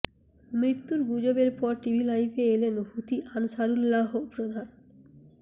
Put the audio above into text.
মৃত্যুর গুজবের পর টিভি লাইভে এলেন হুথি আনসারুল্লাহ প্রধান